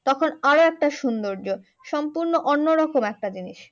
তখন আরো একটা সুন্দর্য সম্পূর্ণ অন্য রকম একটা জিনিস।